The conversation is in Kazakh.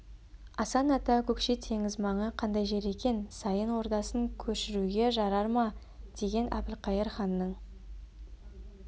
асан ата көкше теңіз маңы қандай жер екен сайын ордасын көшіруге жарар ма деген әбілқайыр ханның